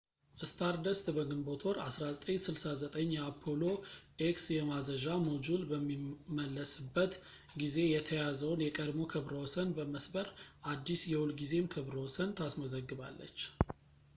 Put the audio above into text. ስታርደስት በግንቦት ወር 1969 የአፖሎ ኤክስ የማዘዣ ሞጁል በሚመለስበት ጊዜ የተያዘውን የቀድሞ ክብረ ወሰን በመስበር አዲስ የሁልጊዜም ክብረ ወሰን ታስመዘግባለች